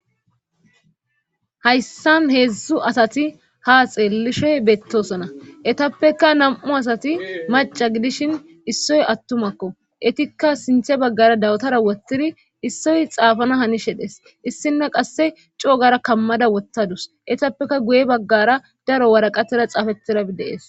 Hayssan heedzdzu asati ha xeellishey beettosona etappeka nam'u asati maca gidishin issoy attumakko etikka sinthe baggara dawtara wottiri issoy xaafana hani shedhes issina qasse coogara kammada wottadus etappeka guye baggara daro waraqatera xaafetiradeees